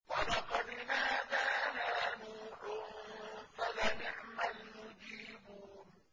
وَلَقَدْ نَادَانَا نُوحٌ فَلَنِعْمَ الْمُجِيبُونَ